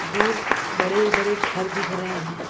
दूर बड़े-बड़े घर दिख रहे हैं।